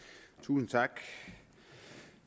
tusind tak